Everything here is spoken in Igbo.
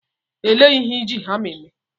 Elee ihe eji hama eme?